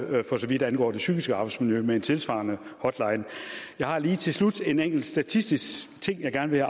for så vidt angår det psykiske arbejdsmiljø med en tilsvarende hotline jeg har lige til slut en enkelt statistisk ting jeg gerne vil